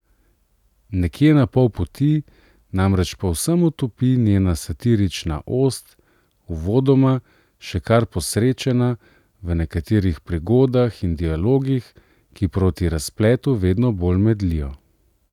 Nekje na pol poti namreč povsem otopi njena satirična ost, uvodoma še kar posrečena v nekaterih prigodah in dialogih, ki proti razpletu vedno bolj medlijo.